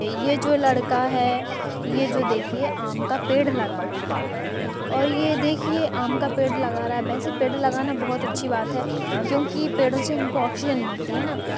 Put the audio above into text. ये जो लड़का है ये जो देखिए आम का पेड़ लगा रहा है और ये देखिए आम का पेड़ लगा रहा है वैसे पेड़ लगाना बहोत अच्छी बात है क्यूंकि पेड़ों से हमको ऑक्सीजन मिलती है ना--